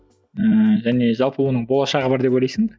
ыыы және жалпы оның болашағы бар деп ойлайсың ба